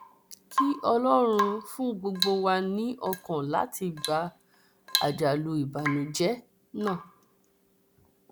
kí ọlọrun fún gbogbo wa ní ọkàn láti gba àjálù ìbànújẹ náà